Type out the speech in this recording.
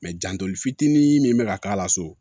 janto fitinin min be ka k'a la so